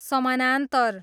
समानान्तर